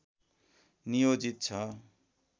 नियोजित छ